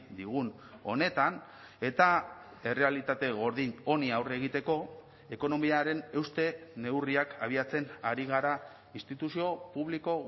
digun honetan eta errealitate gordin honi aurre egiteko ekonomiaren euste neurriak abiatzen ari gara instituzio publiko